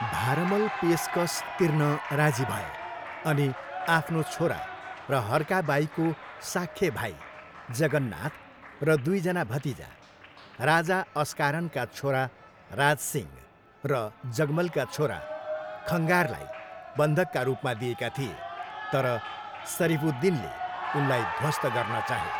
भारमल पेसकस तिर्न राजी भए अनि आफ्नो छोरा र हर्का बाईको साक्खे भाइ जगन्नाथ र दुईजना भतिजा, राजा अस्कारनका छोरा राजसिंह र जगमलका छोरा खङ्गारलाई बन्धकका रूपमा दिएका थिए तर सरिफ उद दिनले उनलाई ध्वस्त गर्न चाहे।